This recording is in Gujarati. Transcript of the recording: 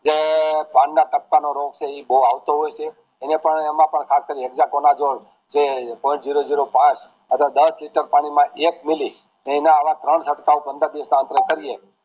જે દામ્ય પતાનો રોગ છે એ બોવ આવતો હોય એમ એમાં પણ ખાસ કરી ને hexaconazole જે ફોર ઝીરો ઝીરો પાંચ અથવા તો દસ લીટર પાણી માં એક મિલી ને આવા ત્રણ સાંદ્ર કરીએ